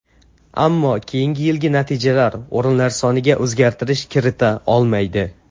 Ammo keyingi yilgi natijalar o‘rinlar soniga o‘zgartirish kirita olmaydi.